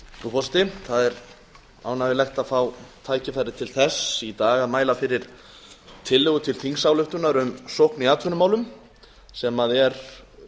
frú forseti það er ánægjulegt að fá tækifæri til þess í dag að mæla fyrir tillögu til þingsályktunar um sókn í atvinnumálum sem er